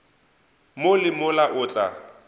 mo le mola o tla